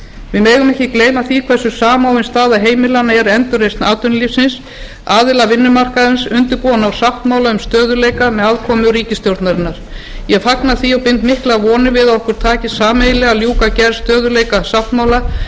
við megum ekki gleyma því hversu samofin staða heimilanna er endurreisn atvinnulífsins aðilar vinnumarkaðarins undirbúa að ná sáttmála um stöðugleika með aðkomu ríkisstjórnarinnar ég fagna því og bind miklar vonir við að okkur takist sameiginlega að ljúka gerð stöðugleikasáttmála þau